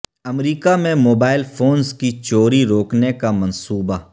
امریکہ میں mobile phones کی چوری روکنے کا منصوبہ